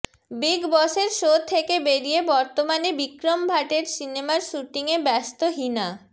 big বসের show তেকে বেরিয়া বর্তমানে বিক্রম ভাটের সিনেমার শ্যুটিংয়ে ব্যস্ত হিনা